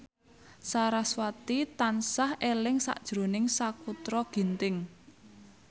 sarasvati tansah eling sakjroning Sakutra Ginting